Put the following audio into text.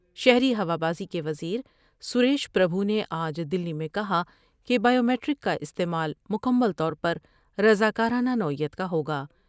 شہری ہوا بازی کے وز سرسریش پر بھو نے آج دلی میں کہا کہ بائیومیٹرک کا استعمال مکمل طور پر رضا کارانہ نوعیت کا ہوگا ۔